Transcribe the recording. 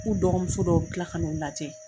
K'u dɔgɔ muso dɔw bi kila ka n'u lajɛ.